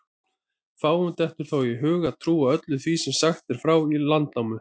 Fáum dettur þó í hug að trúa öllu því sem sagt er frá í Landnámu.